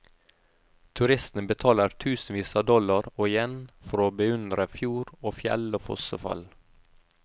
Turistene betaler tusenvis av dollar og yen for å beundre fjord og fjell og fossefall.